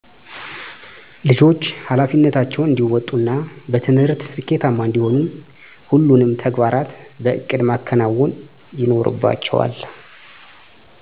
ልጆች ሀላፊነታቸውን እንዲወጡ እና በትምህርት ስኬታማ እንዲሆኑ ሁሉንም ተግባራት በእቅድ ማከናወን ይኖርባቸዋል